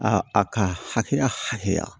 A a ka hakɛya hakɛya